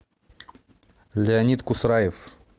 леонид кусраев